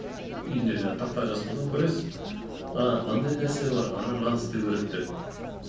үйінде жаңағы тақтаға жазып қойсаң көресіз а мынандай нәрсе бар ааа мынаны істеу керек деп